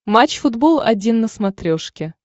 матч футбол один на смотрешке